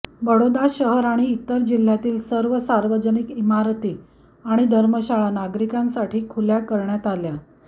बडोदा शहर आणि इतर जिल्ह्यातील सर्व सार्वजनिक इमारती आणि धर्मशाळा नागरिकांसाठी खुला करण्यात आल्या